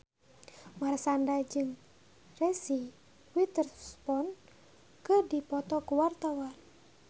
Marshanda jeung Reese Witherspoon keur dipoto ku wartawan